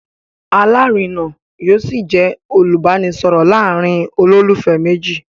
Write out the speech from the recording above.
Alárina yóò ṣì jẹ́ olùbánisọ̀rọ̀ láàárín olólùfẹ́ méjì